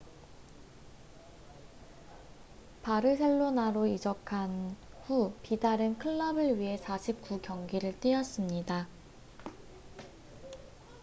바르셀로나로 이적한 후 비달은 클럽을 위해 49경기를 뛰었습니다